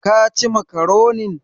Ka ci makaronin?